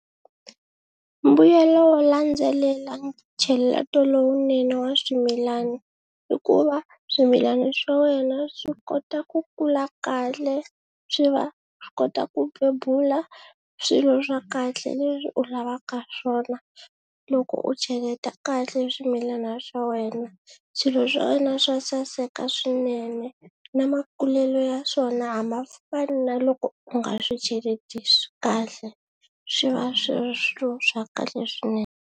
Mbuyelo wo landzelela ncheleto lowunene wa swimilana i ku va swimilana swa wena swi kota ku kula kahle swi va swi kota ku bebula swilo swa kahle leswi u lavaka swona, loko u cheleta kahle swimilana swa wena swilo swa wena swa saseka swinene na makulelo ya swona a ma fani na loko u nga swi cheletisi kahle swi va swi ri swilo swa kahle swinene.